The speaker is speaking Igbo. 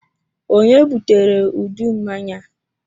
Ònye butere udu mmanya a?